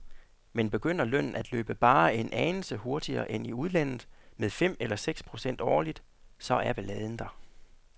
Men begynder lønnen at løbe bare en anelse hurtigere end i udlandet, med fem eller seks procent årligt, så er balladen der.